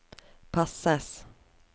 passes